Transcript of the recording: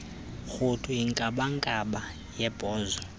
rhuthu inkabankaba yebhozo